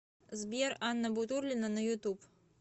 сбер анна бутурлина на ютуб